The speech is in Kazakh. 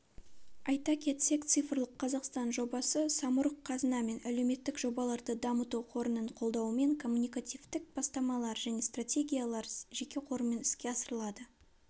айта кетсек цифрлық қазақстан жобасы самұрық-қазына мен әлеуметтік жобаларды дамыту қорының қолдауымен коммуникативтік бастамалар және стратегиялар жеке қорымен іске асырылады